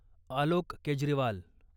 Alok Kejriwal